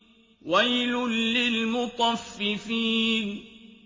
وَيْلٌ لِّلْمُطَفِّفِينَ